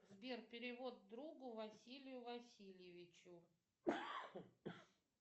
сбер перевод другу василию васильевичу